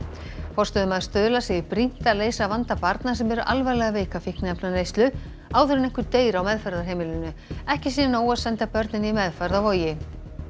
forstöðumaður Stuðla segir brýnt að leysa vanda barna sem eru alvarlega veik af fíkniefnaneyslu áður en einhver deyr á meðferðarheimilinu ekki sé nóg að senda börnin í meðferð á Vogi